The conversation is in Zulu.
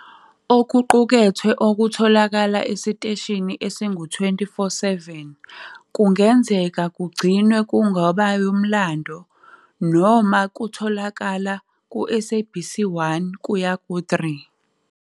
Okuqukethwe okutholakala esiteshini esingu-24, 7 kungenzeka kugcinwe kungobo yomlando noma kutholakala ku-SABC 1-3.